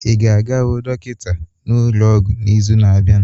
Ị ga-aga hụ dọkịta n'ụlọ ọgwụ n'izu na-abịa?